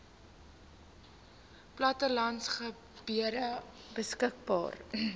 plattelandse gebiede beskikbaar